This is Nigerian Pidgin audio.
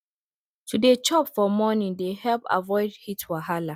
to dey chop for morning they helped avoid heat wahala